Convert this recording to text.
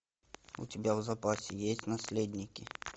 у тебя в запасе есть наследники